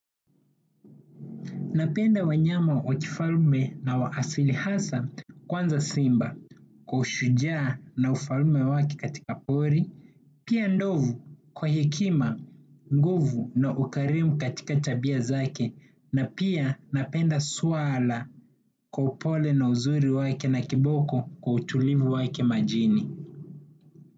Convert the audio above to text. Napenda wanyama wakifalme na waasili hasa kwanza simba kwa ushuja na ufalme wake katika pori, pia ndovu kwa hekima, nguvu na ukarimu katika tabia zake na pia napenda swara kwa upole na uzuri wake na kiboko kwa utulivu wake majini.